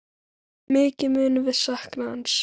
Mikið munum við sakna hans.